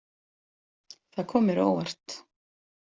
Það kom mér á óvart.